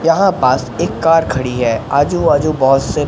यहां पास एक कार खड़ी है आजू बाजू बहुत से--